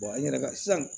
n yɛrɛ ka sisan